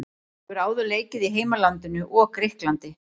Hún hefur áður leikið í heimalandinu og Grikklandi.